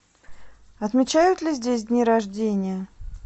отмечают ли здесь дни рождения